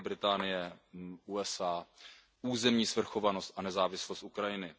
Velké Británie, USA, územní svrchovanost a nezávislost Ukrajiny.